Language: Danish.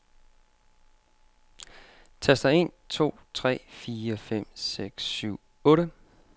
Tester en to tre fire fem seks syv otte.